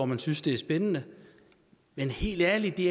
man synes det er spændende men helt ærligt det